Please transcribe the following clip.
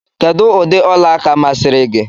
Kedụ ụdị ọla aka masịrị gị?